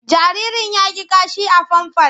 Jaririn ya yi kashi a famfas.